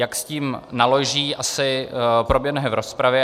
Jak s tím naloží, asi proběhne v rozpravě.